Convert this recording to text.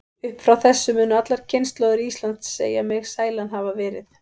Upp frá þessu munu allar kynslóðir Íslands segja mig sælan hafa verið.